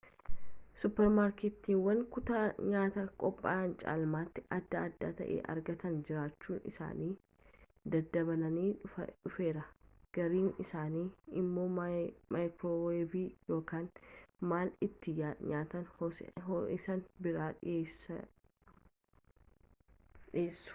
suuppermaarkeetiiwwan kutaa nyaata qophaa'aa caalmaatti adda adda ta'e argataa jiraachuun isaanii daddabalaa dhufeera gariin isaanii immoo maayikirooweevii yookaan mala ittiin nyaata ho'isan biraa dhiyeessu